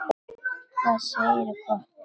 Hvað segirðu gott?